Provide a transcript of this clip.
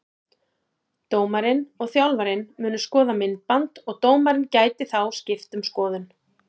Dómarinn og þjálfarinn munu skoða myndband og dómarinn gæti þá skipt um skoðun.